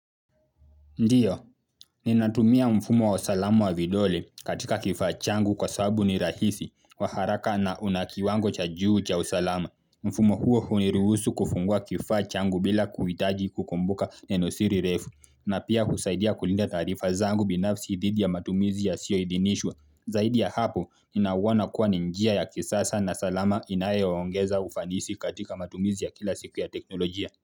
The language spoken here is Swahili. Ndio, ninatumia mfumo wa salama wa vidole katika kifaa changu kwa sababu ni rahisi, wa haraka na una kiwango cha juu cha usalama. Mfumo huo huniruhusu kufungua kifaa changu bila kuhitaji kukumbuka neno siri refu, na pia husaidia kulinda taarifa zangu binafsi dhidi ya matumizi yasiyoidhinishwa. Zaidi ya hapo, ninauona kuwa ni njia ya kisasa na salama inayoongeza ufanisi katika matumizi ya kila siku ya teknolojia.